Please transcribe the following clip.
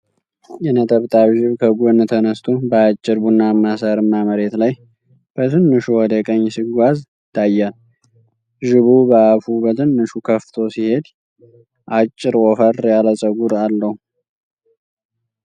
የነጠብጣብ ዥብ ከጎን ተነስቶ፣ በአጭር ቡናማ ሳርማ መሬት ላይ በትንሹ ወደ ቀኝ ሲጓዝ ይታያል። ዥቡ በአፉ በትንሹ ከፍቶ ሲሄድ፣ አጭር ወፈር ያለ ፀጉር አለው።